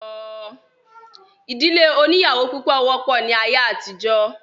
ìdílé oníyàwó púpọ̀ wọ́pọ̀ ní ayé àtijọ́